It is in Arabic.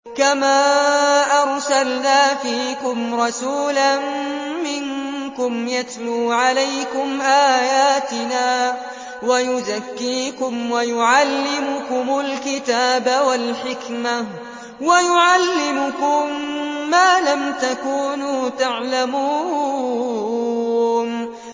كَمَا أَرْسَلْنَا فِيكُمْ رَسُولًا مِّنكُمْ يَتْلُو عَلَيْكُمْ آيَاتِنَا وَيُزَكِّيكُمْ وَيُعَلِّمُكُمُ الْكِتَابَ وَالْحِكْمَةَ وَيُعَلِّمُكُم مَّا لَمْ تَكُونُوا تَعْلَمُونَ